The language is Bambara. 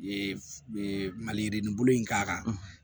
Ee maliyirinin bulu in k'a kan